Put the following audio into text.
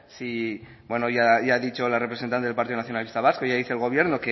si bueno ya ha dicho la representante del partido nacionalista vasco ya dice el gobierno